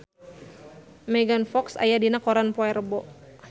Megan Fox aya dina koran poe Rebo